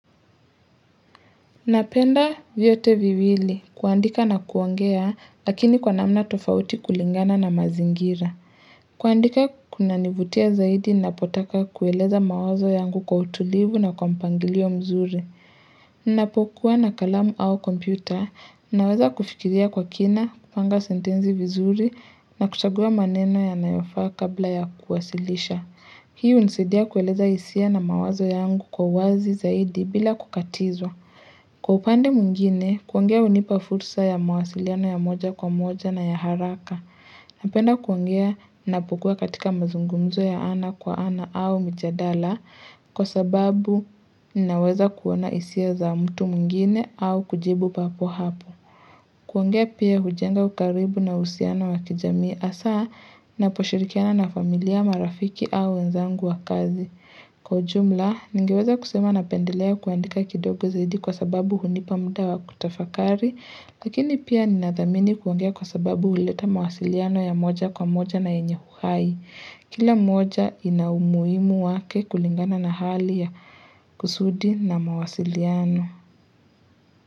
Napenda vyote viwili, kuandika na kuongea, lakini kwa namna tofauti kulingana na mazingira. Kuandika kuna nivutia zaidi, napotaka kueleza mawazo yangu kwa utulivu na kwa mpangilio mzuri. Napokuwa na kalamu au kompyuta, naweza kufikiria kwa kina, kupanga sentenzi vizuri, na kuchagua maneno ya nayofaa kabla ya kuwasilisha. Hii unisaidia kueleza hisia na mawazo yangu kwa wazi zaidi bila kukatizwa. Kwa upande mwingine, kuongea unipa fursa ya mawasiliano ya moja kwa moja na ya haraka. Napenda kuongea napokua katika mazungumzo ya ana kwa ana au mijadala kwa sababu naweza kuona hisia za mtu mwingine au kujibu papo hapo. Kuongea pia hujenga ukaribu na uhusiano wa kijamii hasa naposhirikiana na familia marafiki au wenzangu wa kazi. Kwa ujumla, ningeweza kusema napendelea kuandika kidogo zaidi kwa sababu hunipa muda wa kutafakari, lakini pia ninathamini kuongea kwa sababu uleta mawasiliano ya moja kwa moja na yenyehuhai. Kila moja inaumuhimu wake kulingana na hali ya kusudi na mawasiliano.